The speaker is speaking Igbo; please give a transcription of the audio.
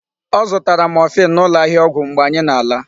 Ọ zụtara morphine n'ụlọ ahịa ọgwụ mgbe anyị na-ala.